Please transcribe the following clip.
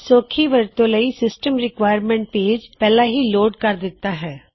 ਸੌਖੀ ਵਰਤੋ ਲਈ ਸਿਸਟਅਮ ਰਿਕੁਆਇਅਰਮੈਟ ਪੇਜ਼ ਪਹਿਲਾ ਹੀ ਲੋਡ ਕਰ ਦਿਤਾ ਹੈ